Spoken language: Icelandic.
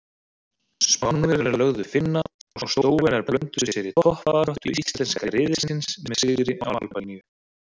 Spánverjar lögðu Finna og Slóvenar blönduðu sér í toppbaráttu íslenska riðilsins með sigri á Albaníu.